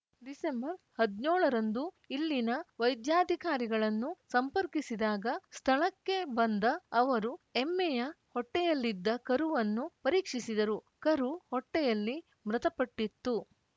ಡಿಸೆಂಬರ್ಹದ್ನ್ಯೋಳರಂದು ಇಲ್ಲಿನ ವೈದ್ಯಾಧಿಕಾರಿಗಳನ್ನು ಸಂಪರ್ಕಿಸಿದಾಗ ಸ್ಥಳಕ್ಕೆ ಬಂದ ಅವರು ಎಮ್ಮೆಯ ಹೊಟ್ಟೆಯಲ್ಲಿದ್ದ ಕರುವನ್ನು ಪರೀಕ್ಷಿಸಿದರು ಕರು ಹೊಟ್ಟೆಯಲ್ಲಿ ಮೃತಪಟ್ಟಿತ್ತು